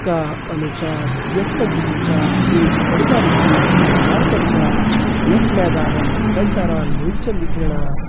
का अनुसार यख मजी जु छ एक बड़ु भारि कू मैदान कर छा। यख मैदानम कई सारा लोग चन दिखेणा।